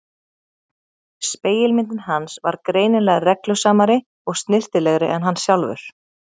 Spegilmyndin hans var greinilega reglusamari og snyrtilegri en hann sjálfur.